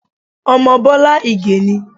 Ọmọ Bọ́lá Ìgè ni.